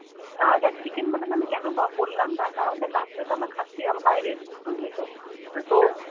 আ দেখ Chicken mutton কোনো বললাম না কারণ দেখ রাত্তিরে তো আমরা খাচ্ছি আবার বাইরে গিয়ে বুঝলি তো তো